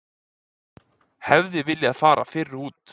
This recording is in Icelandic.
Hefði viljað fara fyrr út